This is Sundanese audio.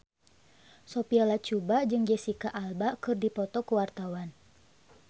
Sophia Latjuba jeung Jesicca Alba keur dipoto ku wartawan